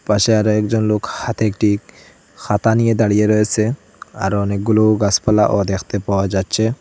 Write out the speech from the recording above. পাশে আরও একজন লোক হাতে একটিখাতা নিয়ে দাঁড়িয়ে রয়েসে আরো অনেকগুলো গাছপালাও দেখতে পাওয়া যাচ্ছে।